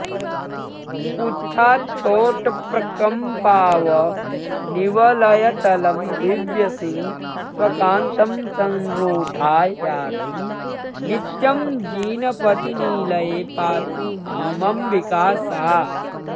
पुच्छाच्छोटप्रकम्पावनिवलयतलं दिव्यसिंह स्वकान्तं संरूढा याति नित्यं जिनपतिनिलये पातु मामम्बिका सा